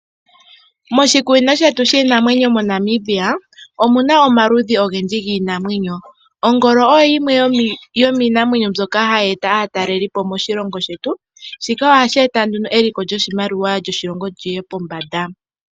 Moshikunino shetu shiinamwenyo mo Namibia omuna omaludhi ogendji giinamwenyo. Ongolo oyo yimwe yomiinamwenyo mboyoka hayi eta aatalelipo moshilongo shetu. Shika ohashi eta nduno, eliko lyoshimaliwa lyoshilongo liye pombanda.